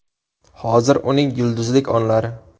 Hozir uning yulduzlik onlari.